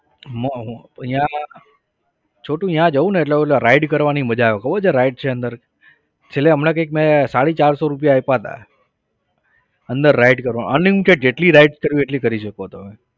છોટુ ત્યાં જાવને એટલે પેલા ride કરવાની મજા આવે. ખબર છે ride છે અંદર? છેલ્લે હમણાં કંઈક મેં સાડી ચારસો રૂપિયા આપ્યા હતા. અંદર ride કરવાના unlimited જેટલી ride કરવી હોય એટલી કરી શકો તમે.